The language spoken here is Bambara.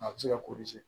A bɛ se ka